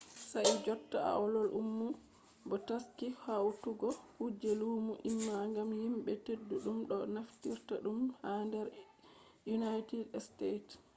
sai jotta aol ummi bo taski hautugo kuje lumo im gam himɓe ɗuɗɗum ɗo naftira ɗum ha nder unaited stets